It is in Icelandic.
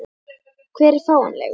Hver er fáanlegur?